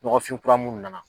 Nɔgɔfin kura munnu nana